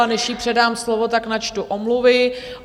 A než jí předám slovo, tak načtu omluvy.